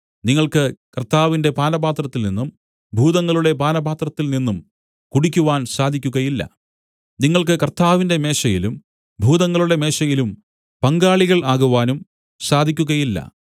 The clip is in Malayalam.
നിങ്ങൾക്ക് കർത്താവിന്റെ പാനപാത്രത്തിൽ നിന്നും ഭൂതങ്ങളുടെ പാനപാത്രത്തിൽ നിന്നും കുടിക്കുവാൻ സാധിക്കുകയില്ല നിങ്ങൾക്ക് കർത്താവിന്റെ മേശയിലും ഭൂതങ്ങളുടെ മേശയിലും പങ്കാളികൾ ആകുവാനും സാ‍ധിക്കുകയില്ല